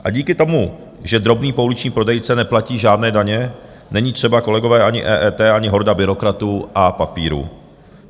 A díky tomu, že drobný pouliční prodejce neplatí žádné daně, není třeba, kolegové, ani EET, ani horda byrokratů a papírů.